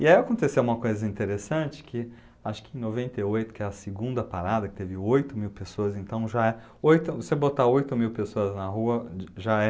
E aí aconteceu uma coisa interessante que, acho que em noventa e oito, que é a segunda parada, que teve oito mil pessoas, então já oito, você botar oito mil pessoas na rua já é...